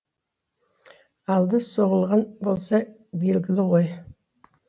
алды соғылған болса белгілі ғой